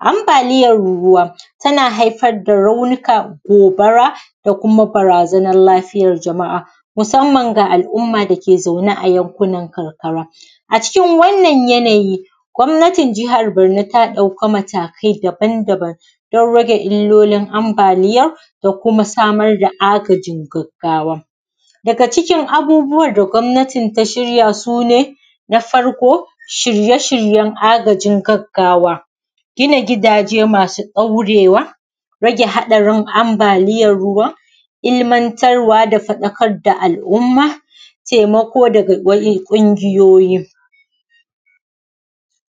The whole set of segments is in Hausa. ambaliyan ruwa tana haifar da raunuka gobara da kuma barazana ga lafiyan jama’a musamman ga al umma dake zaune a yan kunan karkara a cikin wannan yanayi gwanatin jihar barno ta dauki matakai daban daban dan rage illolin ambaliyan da kuma samar da agajin gaggawa daga cikin abubuwan da gwamnatin ta shirya sune na farko shirye shiryen agajin gaggawa gina gidaje masu daure wa rage hadarin ambaliyan ruwan ilmantarwa da fadakar da al umma taimako daga kungiyoyin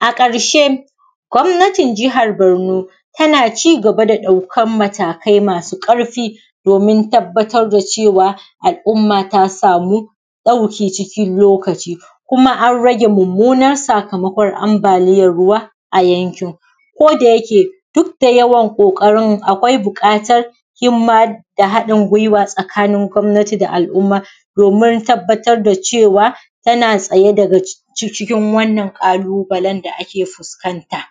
a karshe gwanatin jihar barno tana cigaba da daukan matakai masu karfi domin tabbatar da cewa al umma ta samu dauki cikin lokaci kuma an rage mummunar sakamakon ambaliyan ruwa a yankin koda yake dukda yawan kokarin akwai bukatan himma da hadin guiwa tsakanin gwamnati da al umma domin tabbatar da cewa tana tsaye daga cikin wannan kalubalen da ake fuskan ta